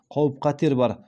қауіп қатер бар